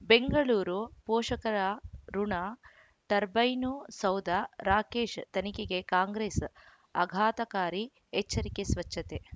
ಬೆಂಗಳೂರು ಪೋಷಕರಋಣ ಟರ್ಬೈನು ಸೌಧ ರಾಕೇಶ್ ತನಿಖೆಗೆ ಕಾಂಗ್ರೆಸ್ ಆಘಾತಕಾರಿ ಎಚ್ಚರಿಕೆ ಸ್ವಚ್ಛತೆ